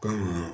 Kɔmi